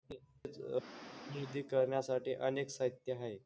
करण्यासाठी अनेक साहित्य हाये.